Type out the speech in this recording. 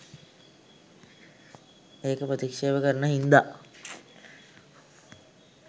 ඒක ප්‍රතික්ෂේප කරන හින්දා